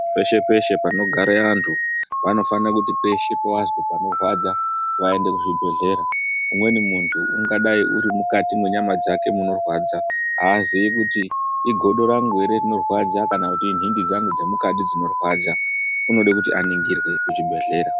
Peshe peshe panogare anthu vanofanira kusana kuti peshe pavazwa panorwadza vaende kuzvibhedhlera umweni munthu ungadai muri mukati mwenyama dzake munorwadza aazii kuti igodo rangu ere rinorwadza kana kuti inhindi dzangu dzemukati dzinorwadza unoda kuti aningirwe kuchibhedhlera.